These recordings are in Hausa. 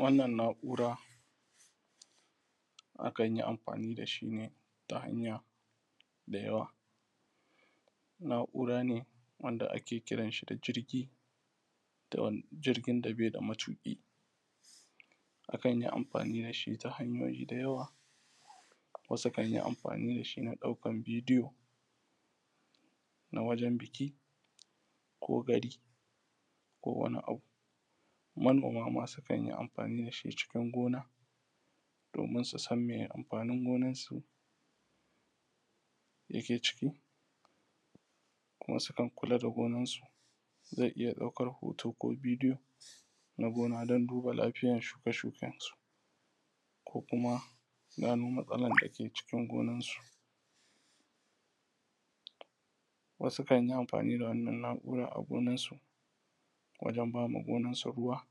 wannan na’ura akan yi amfani da shi ne ta hanya da yawa na’ura ne wanda ake kiran shi da jirgin da bai da matuƙi akan yi amfani da shi ta hanyoyi da yawa wasu sukan yi amfani da shi ta ɗaukan bidiyo na wajen biki ko gari ko wani abu manoma ma sukan amfani da shi cikin gona domin su san miye amfanin gonansu dake cikin kuma sukan kula da gonar su zai iya ɗaukan hoto ko bidiyo na gona don duba lafiyar shuke shuken su ko kuma gano matsalar dake cikin gonarsu wasu kan yi amfani da wannan na’ura a gonarsu wajan ba ma gonarsu ruwa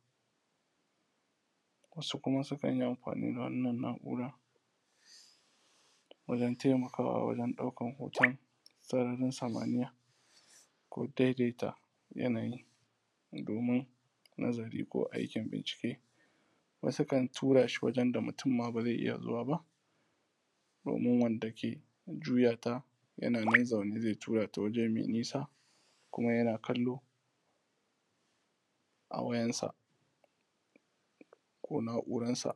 wasu kuma sukan yi amfani da wannan na’urorin wajan taimakawa wajan ɗaukan hoton sararin samaniya ko dai dai ta yanayi domin nazari ko aikin bincike wasu kan turashi wajen da mutum ma ba zai iya zuwa ba domin wanda ke juyata yana nan zaune zai tura ta waje mai nisa kuma yana kallo a wayansa ko na’urar sa